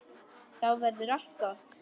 Þá verður allt gott.